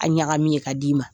An ɲagamin* ye ka di'i ma